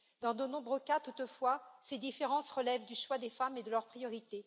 Dans de nombreux cas, toutefois, ces différences relèvent du choix des femmes et de leurs priorités.